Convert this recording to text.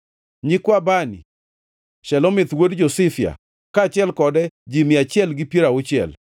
nyikwa Bani, Shelomith wuod Josifia, kaachiel kode ji mia achiel gi piero auchiel;